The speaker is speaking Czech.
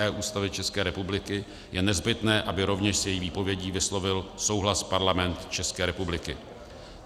e) Ústavy České republiky, je nezbytné, aby rovněž s její výpovědí vyslovil souhlas Parlament České republiky.